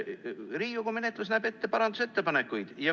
Riigikogu menetlus näeb ette parandusettepanekuid.